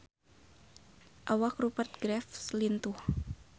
Awak Rupert Graves lintuh